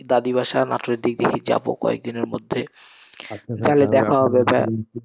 দাদীর বাসা, নাটোরের দিকে যাবো কয়েকদিনের মধ্যে, তাহলে দেখা হবে ভাইয়া।